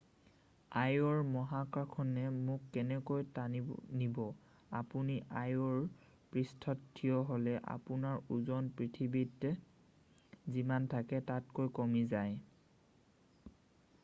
আইঅ'ৰ মহাকৰ্ষণে মোক কেনেকৈ টানি নিব আপুনি আইঅ'ৰ পৃষ্ঠত থিয় হ'লে আপোনাৰ ওজন পৃথিৱীত যিমান থাকে তাতকৈ কমি যায়